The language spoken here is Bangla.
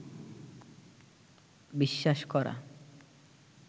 বিশ্বাস করা